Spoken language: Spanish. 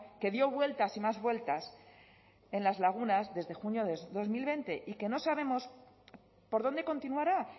que dio vueltas y más vueltas en las lagunas desde junio de dos mil veinte y que no sabemos por dónde continuará